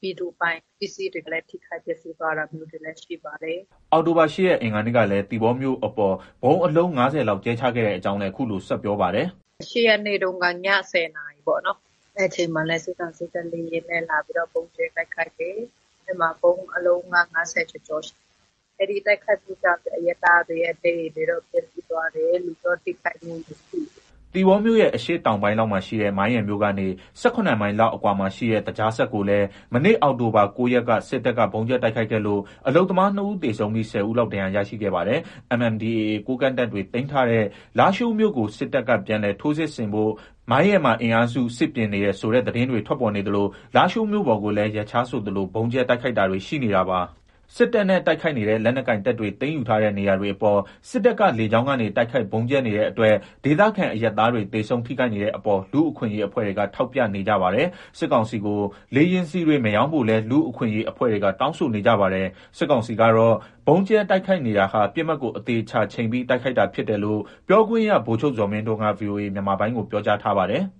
ပြည်သူပိုင်ပစ္စည်းတွေလည်း ထိခိုက်ပျက်စီးသွားတာလည်း ရှိပါတယ်။” အောက်တိုဘာ ၈ ရက် အင်္ဂါနေ့ကလည်း သီပေါမြို့အပေါ် ဗုံးအလုံး ၅၀ လောက်ကြဲချခဲ့ကြောင်းလည်း အခုလို ဆက်ပြောပါတယ်။ “၈ ရက်နေ့က ည ၁၀ နာရီပေါ့နော်။ အဲဒီအချိန်မှာလည်း စစ်ကောင်စီက လေယာဉ်နဲ့လာပြီးတော့ ဗုံးကြဲတိုက်ခိုက်တယ်။ အဲဒီမှာ ဗုံးအလုံး ၅၀ ကျော်ကျော် ရှိတယ်။ အဲဒီတိုက်ခိုက်မှုမှာ အရပ်သားတွေရဲ့ နေအိမ်တွေတော့ ပျက်ဆီးသွားတယ်။ လူတော့ ထိခိုက်မှု မရှိဘူး။” သီပေါမြို့ရဲ့ အရှေ့တောင်ပိုင်းလောက်မှာရှိတဲ့ မိုင်းရယ်မြို့ကနေ ၁၇ မိုင်လောက်အကွာမှာရှိတဲ့ သကြားစက်ကိုလည်း မနေ့ အောက်တိုဘာ ၉ ရက်က စစ်တပ်က ဗုံးကြဲတိုက်ခိုက်ခဲ့လို့ အလုပ်သမား ၂ ဦးသေဆုံးပြီး ၁၀ ဦးလောက် ဒဏ်ရာရခဲ့ပါတယ်။ MNDAA ကိုးကန့်တပ်တွေ သိမ်းထားတဲ့ လားရှိုးမြို့ကို စစ်တပ်က ပြန်လည် ထိုးစစ်ဆင်ဖို့ မိုင်းရယ်မှာ အင်အားစု စစ်ပြင်နေတယ်ဆိုတဲ့ သတင်းတွေ ထွက်ပေါ်နေသလို လားရှိုးမြို့ပေါ်ကိုလည်း ရက်ခြားဆိုသလို ဗုံးကြဲတိုက်ခိုက်တာတွေ ရှိနေတာပါ။ စစ်တပ်နဲ့ တိုက်ခိုက်နေတဲ့ လက်နက်ကိုင်တပ်တွေသိမ်းယူထားတဲ့ နေရာတွေအပေါ် စစ်တပ်က လေကြောင်းကနေ တိုက်ခိုက် ဗုံးကြဲနေတဲ့အတွက် ဒေသခံ အရပ်သားတွေ သေဆုံး ထိခိုက်နေတဲ့အပေါ် လူ့အခွင့်အရေးအဖွဲ့တွေက ထောက်ပြနေကြပါတယ်။ စစ်ကောင်စီကို လေယာဉ်ဆီတွေ မရောင်းဖို့လည်း လူ့အခွင့်အရေးအဖွဲ့တွေက တောင်းဆိုနေကြပါတယ်။ စစ်ကောင်စီကတော့ ဗုံးကြဲ တိုက်ခိုက်နေတာဟာ ပစ်မှတ်ကို အသေအချာချိန်ပြီး တိုက်တာဖြစ်တယ်လို့ ပြောခွင့်ရ ဗိုလ်ချုပ်ဇော်မင်းထွန်းက ဗွီအိုအေမြန်မာပိုင်းကို ပြောကြားထားပါတယ်။